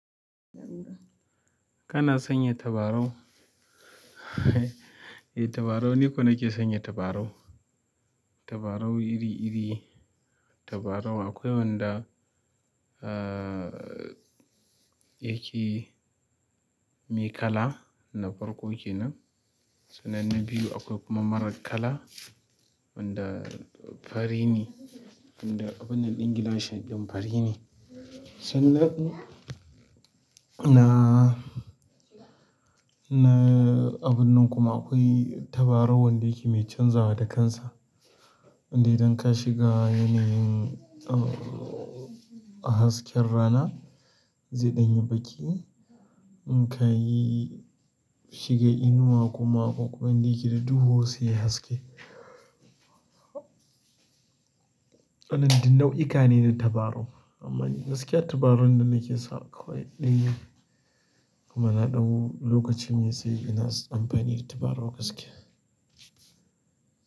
Kana sanya tabarau? Eh, tabarau niko nake sanya tabarau. Tabarau iri-iri. Tabarau akwai wanda, uh, yake mai kala na farko kenan. Sannan na biyu akwai kuma mara kala wanda fari ne, wanda abunnan ɗin gilashi ɗin fari ne. Sannan, na, na abun nan kuma akwai tabarau wanda yake mai canzawa da kansa. Wanda idan ka shiga yanayin, uh, hasken rana zai ɗanyi baƙi. In ka yi shiga inuwa kuma ƙwaƙun dayake da duhu sai yai haske. Wannan nau'ika ne na tabarau amma gaskiya tabarau da nake sa akwai ɗai. Kuma na ɗau lokacin yi sai ina amfani da tabarau gaskiya.